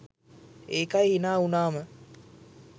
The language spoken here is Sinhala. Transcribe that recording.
ඒකයි හිනා වුනාම